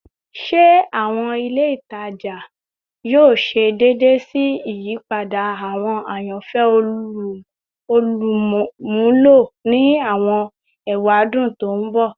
Ṣe awọn ile itaja ati awọn ile itaja yoo ṣe deede si iyipada awọn ayanfẹ olumulo ni awọn ewadun to n bọ?